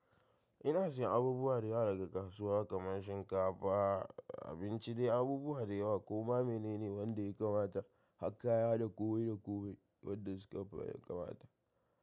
Ina sayin abubuwa da yawa daga kasuwa kamar shinkafa, abinci dai abubuwa da yawa. Kuma mene ne wanda ya kamata a haƙa kaya da komai da komai wadda suka fi ya kamata?